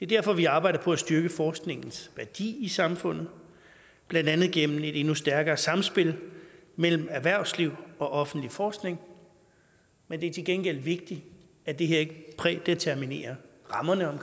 derfor vi arbejder på at styrke forskningens værdi i samfundet blandt andet gennem et endnu stærkere samspil mellem erhvervsliv og offentlig forskning men det er til gengæld vigtigt at det her ikke prædeterminerer rammerne om